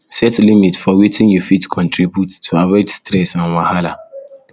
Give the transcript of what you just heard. set limit for wetin you you fit contribute to avoid stress and wahala